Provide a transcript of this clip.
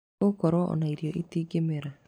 Nĩgũkorwo ona irio itingĩmera.